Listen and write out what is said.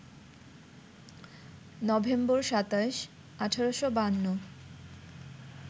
November ২৭, ১৮৫২